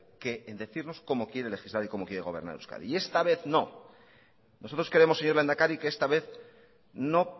que en decirnos cómo quiere legislar y cómo quiere gobernar euskadi y esta vez no nosotros creemos señor lehendakari que esta vez no